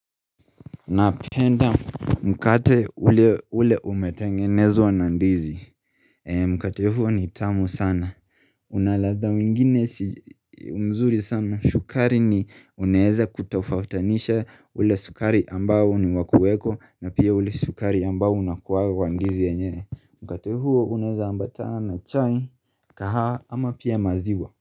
Napenda mkate ule umetengenezwa na ndizi Mkate huo ni tamu sana Una ladha mengine mzuri sana shukari ni unaeza kutofautanisha ule sukari ambao ni wa kueko na pia ule sukari ambao unakuwaga kwa ndizi yenyewe Mkate huo unaeza ambatana na chai kahawa ama pia maziwa.